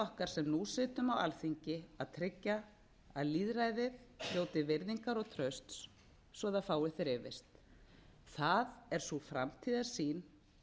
okkar sem nú sitjum á alþingi að tryggja að lýðræðið njóti virðingar og trausts svo það fái frið það er sú framtíðarsýn